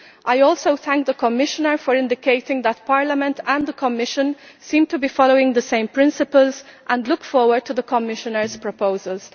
I also thank the Commissioner for indicating that Parliament and the Commission seem to be following the same principles, and I look forward to the Commissioner's proposals.